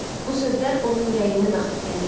Bu sözlər onun ürəyindən axıb gəlirdi.